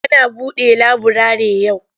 Ana buɗe laburare yau?